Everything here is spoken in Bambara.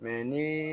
Mɛ ni